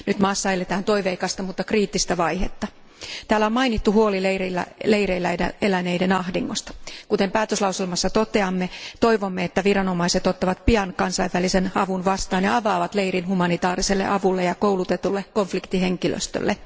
Nyt maassa eletään toiveikasta, mutta kriittistä vaihetta. Täällä on mainittu huoli leireillä eläneiden ahdingosta. Kuten päätöslauselmassa toteamme, toivomme, että viranomaiset ottavat pian kansainvälisen avun vastaan ja avaavat leirin humanitaariselle avulle ja koulutetulle konfliktihenkilöstölle.